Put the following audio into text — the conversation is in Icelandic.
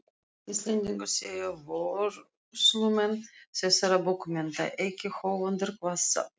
Íslendingar séu vörslumenn þessara bókmennta, ekki höfundar, hvað þá eigendur.